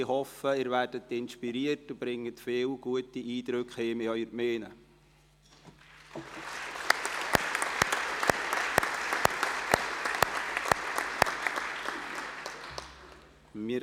Ich hoffe, Sie werden inspiriert und nehmen viele gute Eindrücke nach Hause in Ihre Gemeinden mit.